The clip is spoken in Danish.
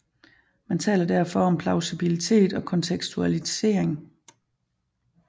Man taler derfor om plausibilitet og kontekstualisering